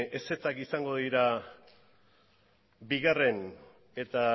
ezetzak izango dira bigarrena eta